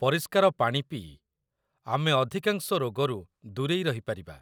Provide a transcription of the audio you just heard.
ପରିଷ୍କାର ପାଣି ପିଇ ଆମେ ଅଧିକାଂଶ ରୋଗରୁ ଦୂରେଇ ରହିପାରିବା